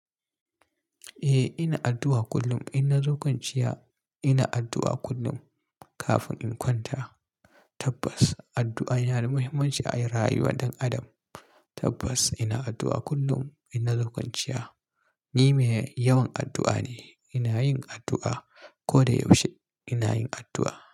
Eh ina addu'a kullum ina zo kwanciya ina addu'a kullum kafin in kwanta. Tabbas addu'a yana da muhimmanci a rayuwar ɗan adam. Tabbas ina addu'a kullum in na zo kwanciya Ni mai yawan addu'a ne, ina yin addu'a. Koda yaushe ina yin addu'a.